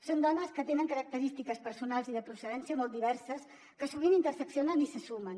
són dones que tenen característiques personals i de procedència molt diverses que sovint interseccionen i se sumen